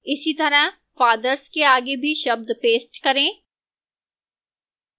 इसीतरह fathers के आगे भी शब्द paste करें